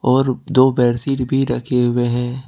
और दो बेडशीट भी रखे हुए हैं।